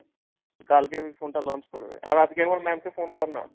কালকে ঐ phone টা launch করবে। আর আজকে একবার ma'am কে phone কর না।